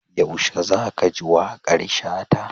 Yaushe za ka ji waƙar Shata?